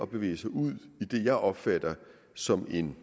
bevæge sig ud i det jeg opfatter som en